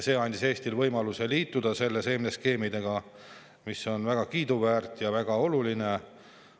See andis Eestile võimaluse liituda nende seemneskeemidega, mis on väga kiiduväärt ja väga oluline.